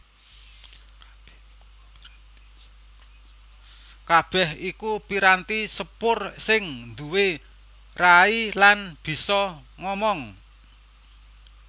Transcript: Kabèh iku piranti sepur sing nduwé rai lan bisa ngomong